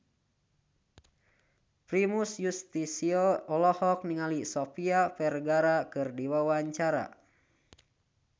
Primus Yustisio olohok ningali Sofia Vergara keur diwawancara